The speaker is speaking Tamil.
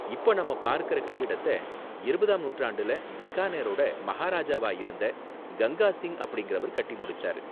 இப்ப நாம பார்க்கற கட்டிடத்த இருபதாம் நூற்றாண்டுல பிகானேரோட மஹாராஜாவா இருந்த கங்கா சிங் அப்படிங்கறவர் கட்டி முடிச்சாரு.